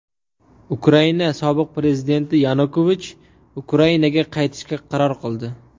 Ukraina sobiq prezidenti Yanukovich Ukrainaga qaytishga qaror qildi.